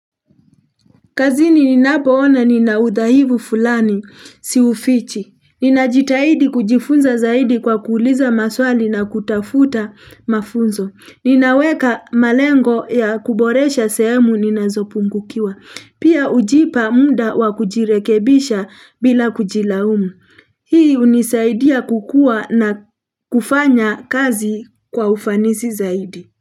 Kazini ninapo ona ninaudahifu fulani, si ufichi. Ninajitahidi kujifunza zaidi kwa kuuliza maswali na kutafuta mafunzo. Ninaweka malengo ya kuboresha sehemu ninazopungukiwa. Pia hujipa muda wakujirekebisha bila kujilaumu. Hii unisaidia kukua na kufanya kazi kwa ufanisi zaidi.